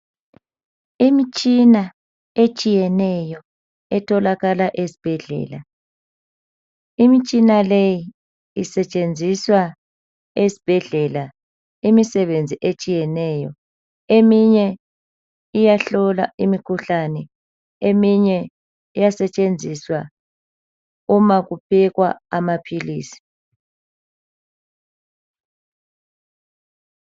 Imitshina etshiyeneyo etholakala ezibhedlela. Imitshina le isetshenziswa ezibhedlela imisebenzi etshiyeneyo. Eminye iyahlola imikhuhlane , eminye iyasetshenziswa uma kuphekwa amaphilisi.